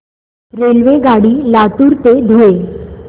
रेल्वेगाडी लातूर ते धुळे